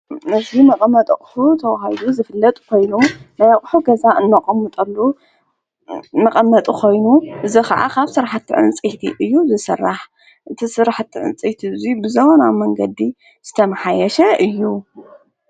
ነዝ መቐመጥ ቕኹ ተውሃዱ ዘፍለጡ ኾይኑ ናያቕሑ ገዛ እነቐምሙጠሉ መቐመጡ ኾይኑ እዚ ኸዓ ኻብ ስራሕቲ ዕንፂይቲ እዩ ዝሠራሕ። እዚ ስራሕቲ ዕንፂይቲ እዙይ ብዘመናዊ መንገዲ ዝተምሓየሽ እዩ።